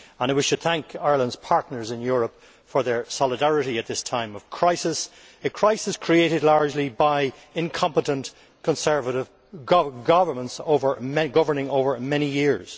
We should thank Ireland's partners in Europe for their solidarity at this time of crisis a crisis created largely by incompetent Conservative governments over many years.